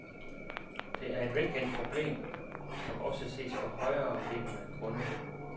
Det er et velkendt problem, som også ses på højereliggende grunde.